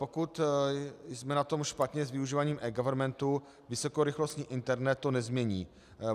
Pokud jsme na tom špatně s používáním eGovernmentu, vysokorychlostní internet to nezmění.